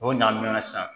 O ɲaamunna sisan